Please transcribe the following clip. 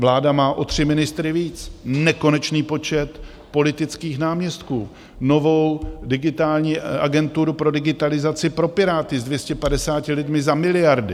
Vláda má o tři ministry víc, nekonečný počet politických náměstků, novou digitální agenturu pro digitalizaci pro Piráty s 250 lidmi za miliardy!